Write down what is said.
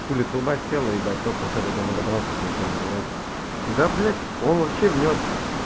хули туда сел ебать только сейчас до дома добрался включил на зарядку да блять он вообще внёс